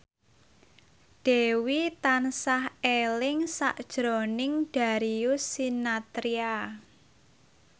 Dewi tansah eling sakjroning Darius Sinathrya